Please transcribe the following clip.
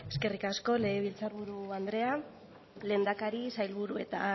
eskerrik asko legebiltzar buru andrea lehendakari sailburu eta